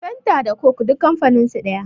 fenta da coke duk kamfaninsu daya